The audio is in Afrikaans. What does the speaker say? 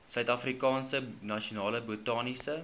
suidafrikaanse nasionale botaniese